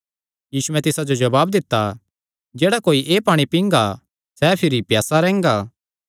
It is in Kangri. यीशुयैं तिसा जो जवाब दित्ता जेह्ड़ा कोई एह़ पाणी पींगा सैह़ भिरी प्यासा नीं रैंह्गा